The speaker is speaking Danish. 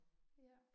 Ja